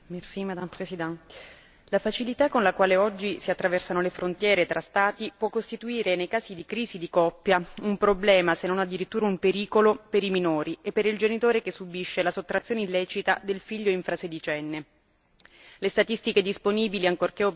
Signora Presidente, onorevoli colleghi, la facilità con la quale oggi si attraversano le frontiere tra Stati può costituire, nei casi di crisi di coppia, un problema se non addirittura un pericolo per i minori e per il genitore che subisce la sottrazione illecita del figlio infrasedicenne.